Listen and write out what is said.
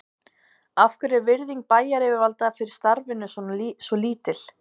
Af hverju er virðing bæjaryfirvalda fyrir starfinu svo lítil?